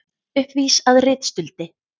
Uppvís að ritstuldi